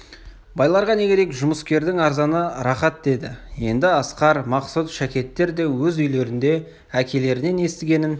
байларға не керек жұмыскердің арзаны рақат деді енді асқар мақсұт шәкеттер де өз үйлерінде әкелерінен естігенін